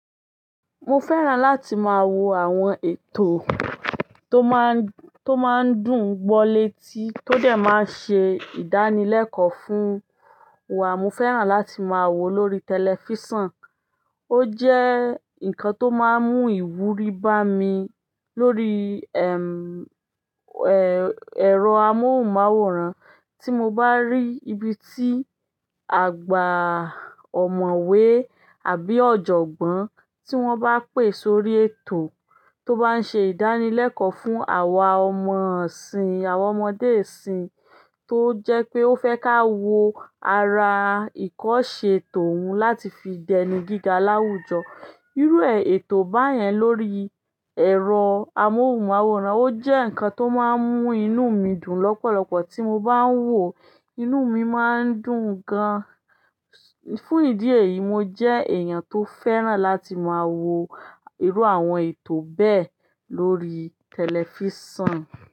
Mo fẹ́ràn láti máa wo àwọn ètò tó máa ń, tó máa ń dùn gbọ́ létí tó dẹ̀ máa ń ṣe ìdánilẹ́kọ̀ọ́ fún wa. Mo fẹ́ràn láti máa wo lórí tẹlifísàn. Ó jẹ́ nǹkan tó máa ń mú ìwúrí bá mi lórí, ẹm, ẹ, ẹ̀rọ amóhùnmáwòrán. Tí mo bá rí ibi tí àgbà ọ̀mọ̀wé àbí ọ̀jọ̀gbọ́n tí wọ́n bá pè sórí ètò tó bá ń ṣe ìdánilẹ́kọ̀ọ́ fún àwa ọmọ isìn, àwọn ọmọdé isìn tó jẹ́ pé ó fẹ́ ká wo ara ìkọ́ṣẹ́ tòun láti fi dẹni gíga láwùjọ. Irú ẹ ètò báyẹn lórí ẹ̀rọ amóhùnmáwòrán, ó jẹ́ nǹkan tó máa ń mú inú mi dùn lọ́pọ̀lọpọ̀. Tí mo bá ń wò ó, inú mi máa ń dùn gan. Fún ìdí èyí, mo jẹ́ èèyàn tó fẹ́ràn láti máa wo irú àwọn ètò bẹ́ẹ̀ lórí tẹlifísàn.